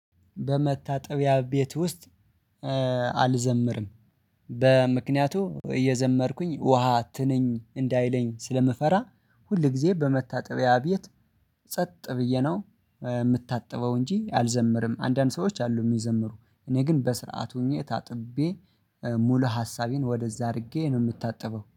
በመታጠቢያ ቤት ውስጥ አልዘምርም በምክንያቱ እየዘመርኩኝ ውሃ ትነኝ እንዳይለኝ ስለምፈራ ሁል ጊዜ በመታጠቢያ ቤት ጸጥ ብዬ ነው የምታጥበው እንጂ አልዘምርም። አንዳንድ ሰዎች አሉ የሚዘምሩ እኔ ግን በስርዓት ሆኜ ታጥቤ ሙሉ ሀሳቤን ወደዛ አድርጌ ነው የምታጥበው።